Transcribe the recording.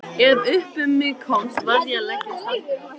Ef upp um mig komst varð ég að leggjast aftur.